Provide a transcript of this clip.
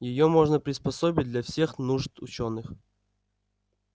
её можно приспособить для всех нужд учёных